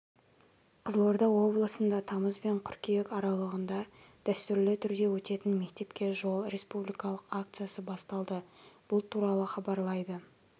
қызылорда облысында тамыз бен қырқүйек аралығында дәстүрлі түрдеөтетін мектепке жол республикалық акциясы басталды бұл туралы хабарлайды